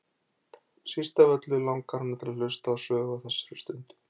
Síst af öllu langar hana til að hlusta á sögu á þessari stundu.